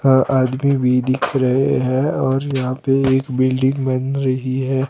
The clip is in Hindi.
अह आदमी भी दिख रहे हैं और यहां पे एक बिल्डिंग बन रही है।